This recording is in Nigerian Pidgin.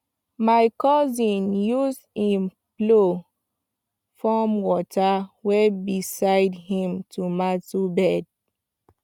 my cousin use him plow form water way beside him tomato bed